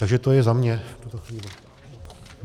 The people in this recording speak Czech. Takže to je za mě v tuto chvíli.